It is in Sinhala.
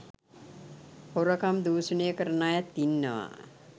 හොරකම් දූෂණය කරන අයත් ඉන්නවා.